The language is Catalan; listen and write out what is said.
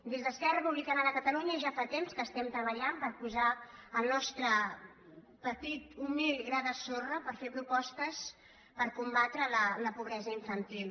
des d’esquerra republicana de catalunya ja fa temps que estem treballant per posar el nostre petit humil gra de sorra per fer propostes per combatre la pobre·sa infantil